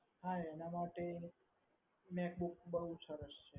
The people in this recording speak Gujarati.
હા એના માટે macbook બહુ સરસ